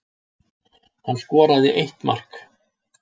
Hann skoraði eitt mark